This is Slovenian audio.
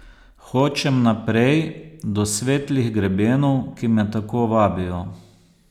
Hočem naprej, do svetlih grebenov, ki me tako vabijo.